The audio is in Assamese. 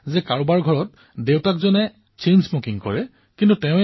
তেওঁলোকে এয়াই প্ৰয়াস কৰে যে পৰিয়ালৰ কোনো সদস্যই যাতে ধুমপান নকৰে স্মকিং নকৰে